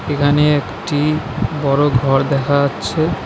এখানে একটি বড় ঘর দেখা যাচ্ছে।